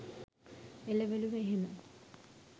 එළවළු එහෙම